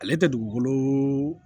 Ale tɛ dugukolo